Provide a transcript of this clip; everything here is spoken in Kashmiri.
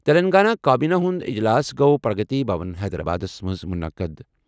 تیٚلنٛگانہ کابینہِ ہُنٛد اجلاس گوٚو پرٛگتی بھون، حیدرآبادس منٛز مُنعقد۔